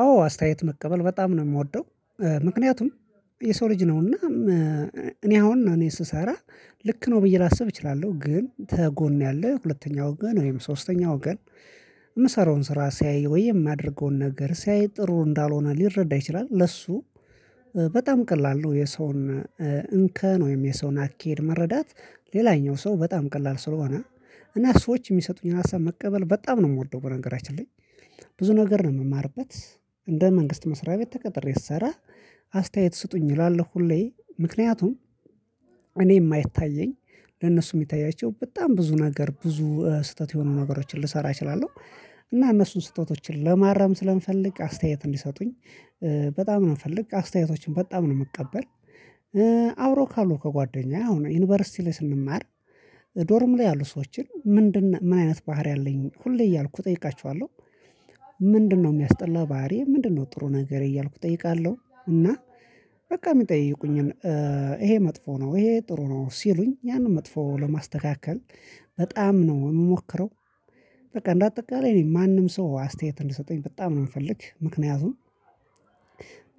አዎ አስተያየት መቀበል በጣም ነው የምወደው ምክንያቱም የሰው ልጅ ነውና። እኔ አሁን እኔ ስሰራ ልክ ነው ብዬ ላስብ እችላለሁ ግን ተጎን ያለ ሁለተኛ ወገን ወይም ሶስተኛ ወገን። የምሰራውን ስራ ሲያይ ወይ የማደርገውን ነገር ሲያይ ጥሩ እንዳልሆነ ሊረዳ ይችላል ለሱ በጣም ቀላል ነው። የሰውን እንከን ወይም የሰውን አካሄድ መረዳት ሌላኛው ሰው በጣም ቀላል ስለሆነ እና ሰዎች የሚሰጡኝን ሀሳብ መቀበል በጣም ነው የምወደው። በነገራችን ላይ ብዙ ነገር ነው የምማርበት። እንደ መንግስት መስሪያ ቤት ተቀጥሬ ስሰራ አስተያየት ስጡኝ እላላሁ ሁሌ ምክንያቱም እኔ የማይታየኝ ለነሱ የሚታያቸው በጣም ብዙ ነገር ብዙ ስህተት የሆኑ ነገሮችን ልሰራ እችላለሁ። እና እነሱን ስህተቶችን ለማረም ስለምፈልግ አስተያየት እንዲሰጡኝ በጣም ነው የምፈልግ አስተያየቶችን በጣም ነው የምቀበል። አብሮ ካሉ ከጓደኛዬ አሁን ዩኒቨርሲቲ ላይ ስንማር ዶርም ላይ ያሉ ሰዎችን ምንድነው ምን አይነት ባህሪ አለኝ ሁሌ እያልኩ እጠይቃችኋለሁ? ምንድነው የሚያስጠላ ባህሪ ምንድነው ጥሩ ነገሬ እያልኩ እጠይቃለሁ? እና በቃ የሚጠይቁኝን ይሄ መጥፎ ነው ይሄ ጥሩ ነው ሲሉኝ ያንን መጥፎ ለማስተካከል በጣም ነው የምሞክረው። በቃ እንደ አጠቃላይ እኔ ማንም ሰው አስተያየት እንዲሰጠኝ በጣም ነው የምፈልግ። ምክንያቱም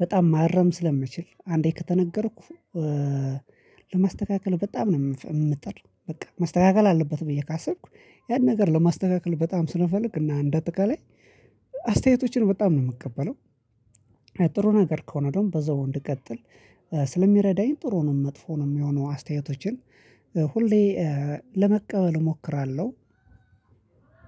በጣም ማረም ስለምችል አንዴ ከተነገርኩ ለማስተካከል በጣም ነው የምጥር። በቃ መስተካከል አለበት ብዬ ካሰብኩ ያን ነገር ለማስተካከል በጣም ስለምፈልግ እና እንደ አጠቃላይ አስተያየቶችን በጣም ነው የምቀበለው። ጥሩ ነገር ከሆነ ደግሞ በዛው እንድቀጥል ስለሚረዳኝ ጥሩውንም መጥፎውንም የሆኑ አስተያየቶችን ሁሌ ለመቀበል እሞክራለሁ።